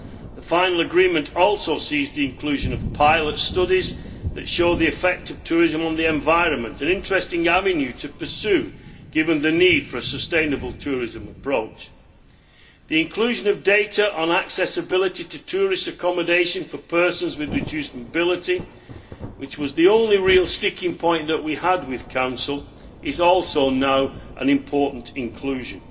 The final agreement also sees the inclusion of pilot studies that show the effect of tourism on the environment an interesting avenue to pursue, given the need for a sustainable tourism approach. The inclusion of data on accessibility to tourist accommodation for persons with reduced mobility, which was the only real sticking point that we had with Council, is also now an important inclusion.